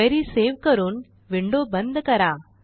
query save करून window बंद करा